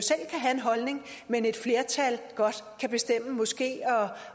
have en holdning men at et flertal godt kan bestemme